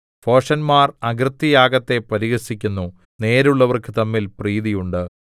ഭോഷന്മാർ അകൃത്യയാഗത്തെ പരിഹസിക്കുന്നു നേരുള്ളവർക്ക് തമ്മിൽ പ്രീതി ഉണ്ട്